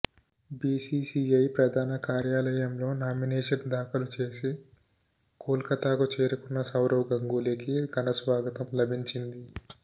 BCCI ప్రధాన కార్యాలయంలో nomination దాఖలు చేసి కోల్కతాకు చేరుకున్న సౌరవ్ గంగూలీకి ఘన స్వాగతం లభించింది